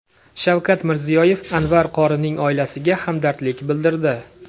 Shavkat Mirziyoyev Anvar qorining oilasiga hamdardlik bildirdi.